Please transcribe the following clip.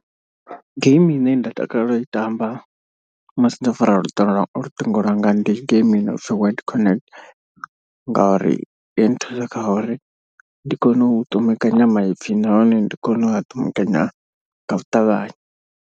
Game ine nda takalela u i tamba musi ndo fara luṱingo lwanga luṱingo lwanga ndi game i nopfi word connect. Ngauri i nthusa kha uri ndi kone u ṱumekanya maipfi nahone ndi kone u ṱumbekanya ngau ṱavhanya.